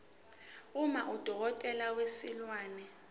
uma udokotela wezilwane